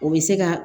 O bɛ se ka